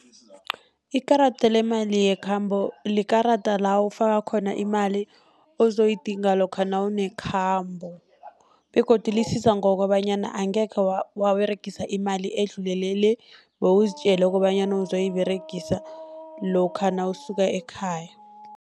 Ikarada lemali yekhambo, likarada la ufaka khona imali ozoyidinga lokha nawunekhambo., begodu lisiza ngokobanyana angekhe waberegisa imali edlulele le, bewuzitjele kobanyana uzoyiberegisa lokha nawusuka ekhaya.